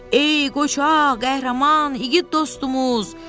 Ey qoca, qəhrəman, igid dostumuz!